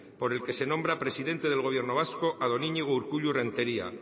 por el que se nombra presidente del gobierno vasco a don iñigo urkullu renteria